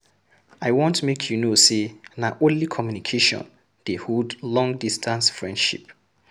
I want make you know sey na only communication dey hold long-distance friendship.